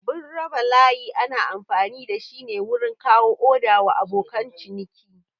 Abun raba layi ana amfani dashi ne wurin kawo oda wa abokan ciniki